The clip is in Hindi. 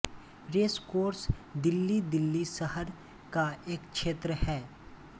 रेसकोर्स दिल्ली दिल्ली शहर का एक क्षेत्र है